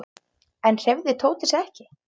Enn hreyfði Tóti sig ekki.